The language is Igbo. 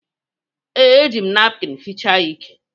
Ee, e ji m napkịn fichaa ya ike.